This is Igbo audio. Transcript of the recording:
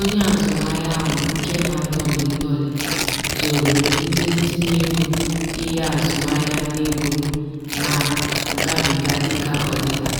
onye azụmahịa ahụ nke na-adọlị ndọlị zooro ndị ntinteego ihe azụmahịa na ego na-agabiga dịka ọdịda